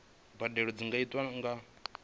mbadelo dzi nga itwa nga